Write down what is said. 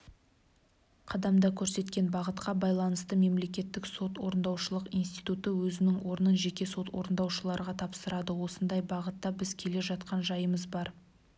қадамда көрсеткен бағытқа байланысты мемлекеттік сот орындаушылық институты өзінің орнын жеке сот орындаушыларға тапсырады осындай бағытта біз келе жатқан жайымыз бар